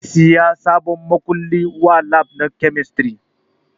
Zai saya sabon makulli wa lab ɗin kemistri